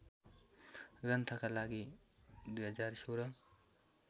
ग्रन्थका लागि २०१६